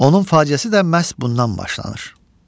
Onun faliyyəsi də məhz bundan başlanır.